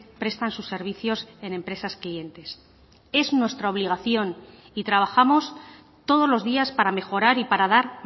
prestan sus servicios en empresas clientes es nuestra obligación y trabajamos todos los días para mejorar y para dar